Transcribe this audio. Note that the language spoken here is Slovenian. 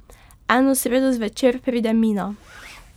Eno sredo zvečer pride Mina.